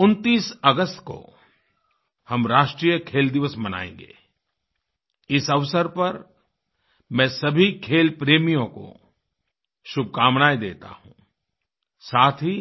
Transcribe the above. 29 अगस्त को हम राष्ट्रीय खेल दिवस मनायेंगे इस अवसर पर मैं सभी खेल प्रेमियों को शुभकामनाएँ देता हूँ साथ ही